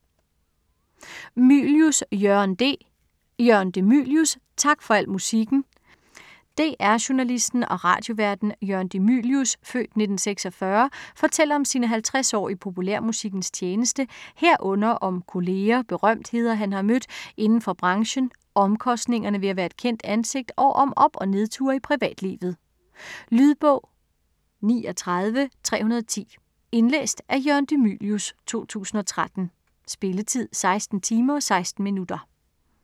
Mylius, Jørgen de: Jørgen de Mylius - tak for al musikken DR-journalisten og radioværten Jørgen de Mylius (f. 1946) fortæller om sine 50 år i populærmusikkens tjeneste herunder om kolleger, berømtheder han har mødt inden for branchen, omkostningerne ved at være et kendt ansigt og om op- og nedture i privatlivet. Lydbog 39310 Indlæst af Jørgen de Mylius, 2013. Spilletid: 16 timer, 16 minutter.